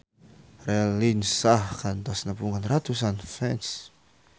Raline Shah kantos nepungan ratusan fans